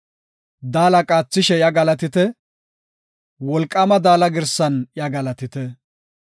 Daala qaathishe iya galatite; wolqaama daala girsan iya galatite.